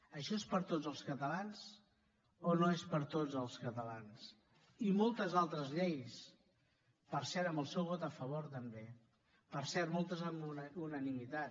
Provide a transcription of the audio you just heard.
això és per a tots els catalans o no és per a tots els catalans i moltes altres lleis per cert amb el seu vot a favor també per cert moltes amb unanimitat